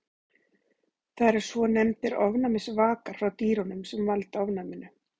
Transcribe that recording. Það eru svonefndir ofnæmisvakar frá dýrunum sem valda ofnæminu.